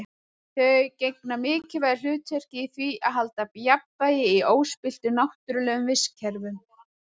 Þau gegna mikilvægu hlutverki í því að halda jafnvægi í óspilltum náttúrlegum vistkerfum.